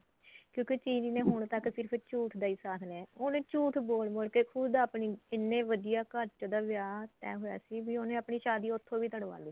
ਕਿਉਂਕਿ ਚਿਲੀ ਨੇ ਹੁਣ ਤੱਕ ਸਿਰਫ ਝੂਠ ਦਾ ਹੀ ਸਾਥ ਲਿਆ ਉਹਨੇ ਝੂਠ ਬੋਲ ਬੋਲ ਕੇ ਖੁਦ ਆਪਣੀ ਕਿੰਨੇ ਵਧੀਆ ਘਰ ਚ ਉਹਦਾ ਵਿਆਹ ਤਹਿ ਹੋਇਆ ਸੀ ਵੀ ਉਹਨੇ ਆਪਣੀ ਸ਼ਾਦੀ ਉੱਥੋ ਵੀ ਤੁੜਵਾ ਲੀ